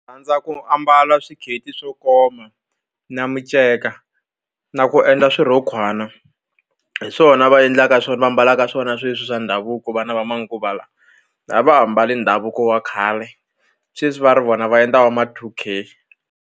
Rhandza ku ambala swikete swo koma na miceka na ku endla swirhokwana hi swona va endlaka swona va ambalaka swona sweswi swa ndhavuko vana va manguva lawa a va ha mbali ndhavuko wa khale sweswi va ri vona va endla va ma two K.